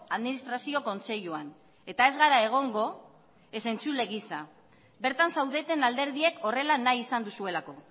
administrazio kontseiluan eta ez gara egongo ez entzule gisa bertan zaudeten alderdiek horrela nahi izan duzuelako